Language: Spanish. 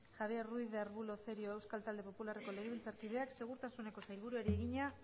javier ruiz de arbulo cerio euskal talde popularreko legebiltzarkideak segurtasuneko sailburuari egina